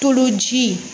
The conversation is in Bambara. Tuloji